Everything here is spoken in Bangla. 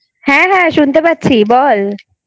হ্যা হ্যা শুনতে পাচ্ছি বল।